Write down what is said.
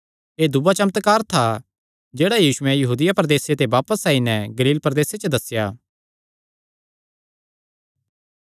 एह़ दूआ चमत्कार था जेह्ड़ा यीशुयैं यहूदिया प्रदेसे ते बापस आई नैं गलील प्रदेसे च दस्सेया